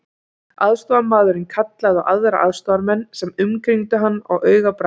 Aðstoðarmaðurinn kallaði á aðra aðstoðarmenn sem umkringdu hann á augabragði.